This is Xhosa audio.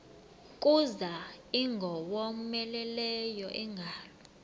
kuza ingowomeleleyo ingalo